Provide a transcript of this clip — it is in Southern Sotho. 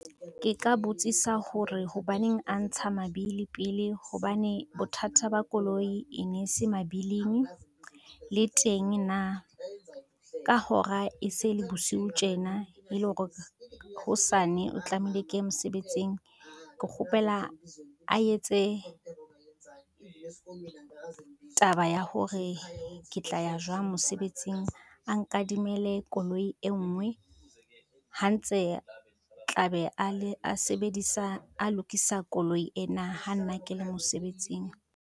Ke ka botsisa hore hobaneng a ntsha mabili pele hobane bothata ba koloi e nese mabiling, le teng na ka hora e se le bosiu tjena e le hore hosane o tlameile ke ye mosebetsing, ke kgopela a etse, taba ya hore ke tla ya jwang mosebetsing a nkadimele koloi e ngwe, ha ntse tla be a lokisa koloi ena ha nna ke le mosebetsing.